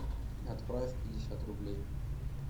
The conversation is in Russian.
отправь пятьдесят рублей